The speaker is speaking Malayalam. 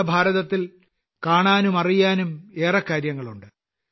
നമ്മുടെ ഭാരതത്തിൽ കാണാനും അറിയാനും ഏറെ കാര്യങ്ങളുണ്ട്